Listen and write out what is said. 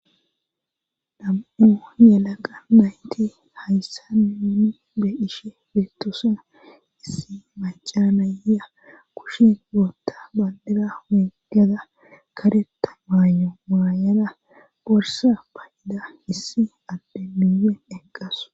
nam7u yelaqa nayti hayssa nuuni beishe beettosona issi macanaya kushin bootta baldida weeggada kareta maayo maayada borsa payida issi adde miyen eqqasu